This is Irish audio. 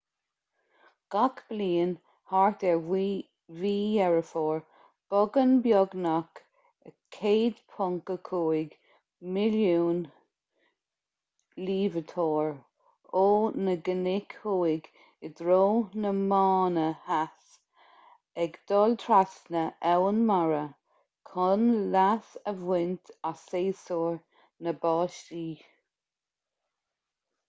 gach bliain thart ar mhí dheireadh fómhair bogann beagnach 1.5 milliún luibhiteoir ó na cnoic thuaidh i dtreo na mánna theas ag dul trasna abhainn mara chun leas a bhaint as séasúr na báistí